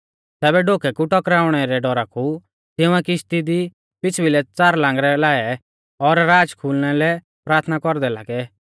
तैबै डोकै कु टकराइणै रै डौरा कु तिंउऐ किश्ती दी पिछ़ बिलै च़ार लांगरै लाऐ और राच खुलना लै प्राथना कौरदै लागै